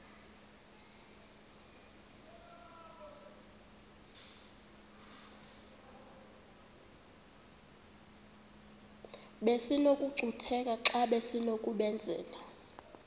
besinokucutheka xa besinokubenzela